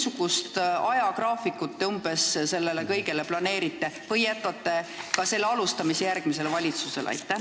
Missugust ajagraafikut te sellele kõigele planeerite või jätate ka alustamise järgmisele valitsusele?